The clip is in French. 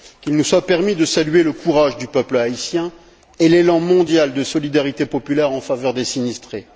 Qu'il nous soit permis de saluer le courage du peuple haïtien et l'élan mondial de solidarité populaire en faveur des sinistrés.